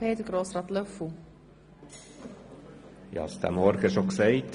Die EVP will nur eine Lesung.